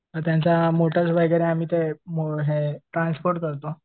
त्यांचा आहे आम्ही ते ट्रान्सपोर्ट करतो.